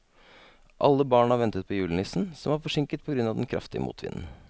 Alle barna ventet på julenissen, som var forsinket på grunn av den kraftige motvinden.